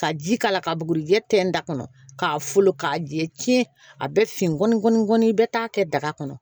Ka ji k'a la ka bugurijɛ tɛntɛn kɔni k'a jɛ tiɲɛ a bɛ fin kɔ ni i bɛ taa kɛ daga kɔnɔ